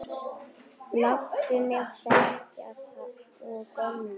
Láttu mig þekkja þá gömlu!